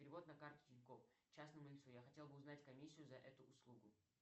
перевод на карту тинькофф частному лицу я хотел бы узнать комиссию за эту услугу